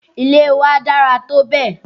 Ilé wa dára tó bẹ̀.